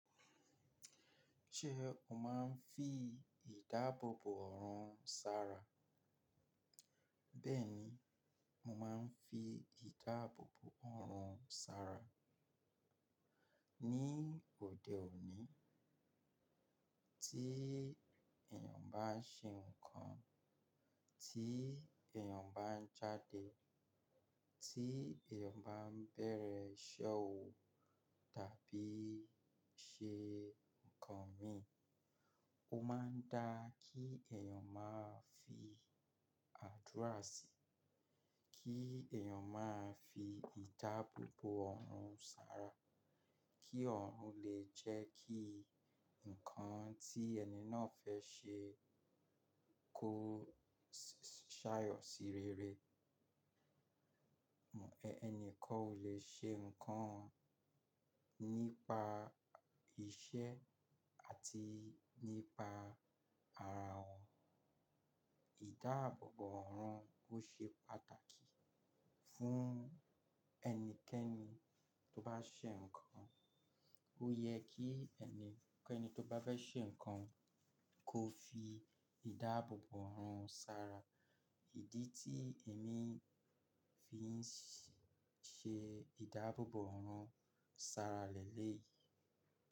Ṣé o máa ń fi ìdáàbòbò ọ̀rún ṣara? Bẹ́ẹ̀ni, mo máa ń fi ìdáàbòbò ọ̀rún ṣara. Ni òde òní, tí èèyàn bá ń ṣe nǹkan, tí èèyàn bá ń jáde, tí èèyàn bá ń bẹ̀rẹ̀ iṣẹ́ òun tàbí ṣe nǹkan mìí. Ó máa ń dá kí èèyàn máa fi àdúra síi, kí èèyàn máa fi ìdáàbòbò ọ̀rún ṣara kí ọ̀rún lè jẹ́ kí ǹkan tí ẹni náà fẹ́ ṣe kó ṣàyọ̀ sí rere. Ẹni kọ́ o lè ṣe nǹkan nípa iṣẹ́ àti nípa ara wọn. Ìdáàbòbò ọ̀rún ó ṣe pàtàkì fún ẹnikẹ́ni tó bá ṣe nǹkan. Ó yẹ kí ẹnikẹ́ni tó bá fẹ́ ṣe nǹkan kó fi ìdáàbòbò ọ̀rún ṣara. Ìdí tí èmi fi ń ṣe ìdáàbòbò ọ̀rún ṣara lẹ́lẹ́ yìí.